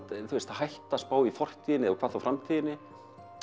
hættir maður spá í fortíðinni hvað þá framtíðinni